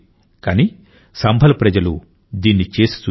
కానీ సంభల్ ప్రజలు దీన్ని చేసి చూపారు